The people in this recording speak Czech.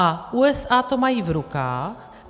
A USA to mají v rukách.